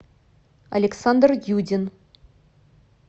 александр юдин